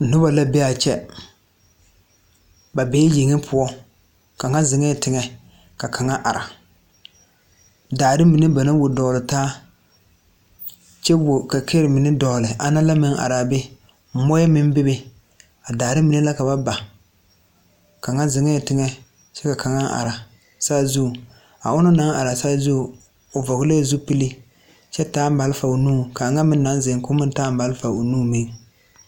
Noba la be a kyɛ ba be yeŋe poɔ kaŋa zeŋɛɛ teŋɛ ka kaŋa are daare mine ba naŋ wuo dogle taa kyɛ wuo kɛkɛɛ mine dogle ana meŋ are a be mui meŋ bebe a daare mine la ka ba ba kaŋa zeŋɛɛ teŋɛ kyɛ ka kaŋa are saazuŋ a ona naŋ are a saazu o vɔglɛɛ zupile kyɛ taa malfa o nuŋ ka a ŋa meŋ naŋ zeŋ ka o meŋ taa malfa o nu meŋ.